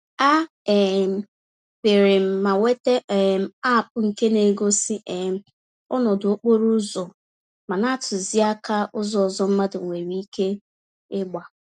A um pịrịm ma nweta um App nke na-egosi um ọnọdụ okporo ụzọ ma na-atụzi àkà ụzọ ọzọ mmadụ nwèrè ike ịgba.